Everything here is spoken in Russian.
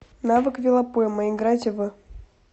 навык велопойма играть в